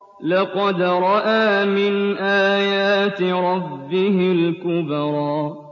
لَقَدْ رَأَىٰ مِنْ آيَاتِ رَبِّهِ الْكُبْرَىٰ